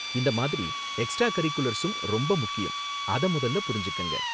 இந்த மாதிரி எக்ஸ்ட்ரா கரிக்குலர்ஸும் ரொம்ப முக்கியம், அத மொதல்ல புரிஞ்சுக்கங்க